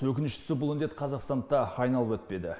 өкініштісі бұл індет қазақстанды да айналып өтпеді